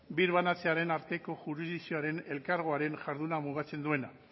birbanatzearen arteko jurisdikzioaren elkargoaren jarduna mugatzen duena